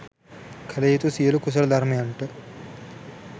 කළ යුතු සියලු කුසල ධර්මයන්ට